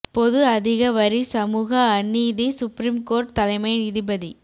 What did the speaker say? பொது அதிக வரி சமூக அநீதி சுப்ரீம் கோர்ட் தலைமை நீதிபதி